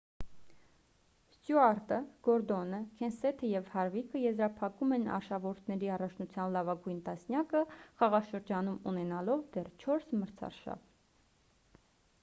ստյուարտը գորդոնը քենսեթը և հարվիկը եզրափակում են արշավորդների առաջնության լավագույն տասնյակը խաղաշրջանում ունենալով դեռ չորս մրցարշավ